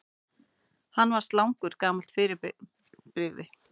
Hvað er slangur gamalt fyrirbrigði?